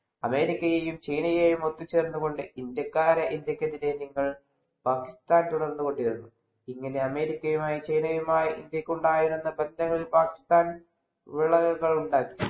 അമേരിക്കയെയും, ചൈനയെയും ഒത്തുചേർത്തുകൊണ്ട് ഇന്ത്യക്കാരെ ഇന്ത്യക്കെതിരെ നിങ്ങൾ പാകിസ്ഥാന്‍ തുടർന്നുകൊണ്ടിരുന്നു. ഇങ്ങനെ അമേരിക്കയുമായും, ചൈനയുമായും ഇന്ത്യക്കുണ്ടായ പ്രശ്നങ്ങളിൽ പാകിസ്ഥാൻ വിള്ളലുകളുണ്ടാക്കി.